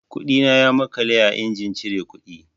Kuɗina ya maƙale a injin cire kuɗi.